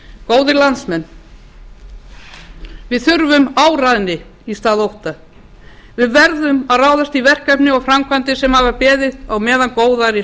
góðir landsmenn við þurfum áræðni í stað ótta við verðum að ráðast í verkefni og framkvæmdir sem hafa beðið á meðan góðærið